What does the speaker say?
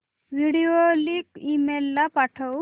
video link email ला पाठव